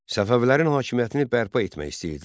Səfəvilərin hakimiyyətini bərpa etmək istəyirdilər.